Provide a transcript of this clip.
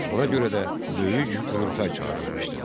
Ona görə də böyük qurultay çağırılmışdı.